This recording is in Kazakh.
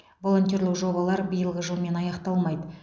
волонтерлік жобалар биылғы жылмен аяқталмайды